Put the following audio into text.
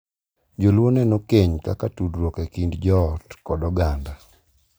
Jo-Luo neno keny kaka tudruok e kind joot kod oganda,